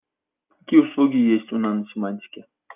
какие услуги есть у наносемантики